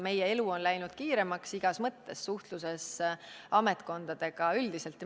Meie elu on läinud kiiremaks igas mõttes, suhtluses ametkondadega ja üldiselt.